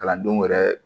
Kalandenw yɛrɛ